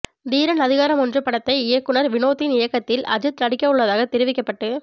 தீரன் அதிகாரம் ஒன்று படத்தை இயக்குநர் வினோத்தின் இயக்கத்தில் அஜித் நடிக்க உள்ளதாகத் தெரிவிக்கப்பட்டு